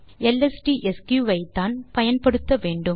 எல்எஸ்டிஎஸ்க் ஐ தான் பயன்படுத்த வேண்டும்